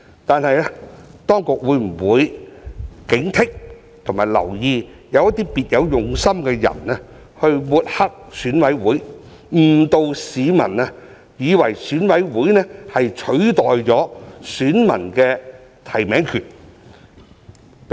但是，當局會否警惕和留意有些別有用心的人抹黑選委會，誤導市民，以為選委會取代了選民的提名權？